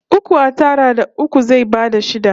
Uku a tara da uku zai bada shida